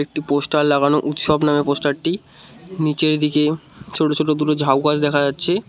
একটি পোস্টার লাগানো উৎসব নামে পোস্টারটি নিচে এদিকে ছোট ছোট দুটো ঝাউ গাছ দেখা যাচ্ছে।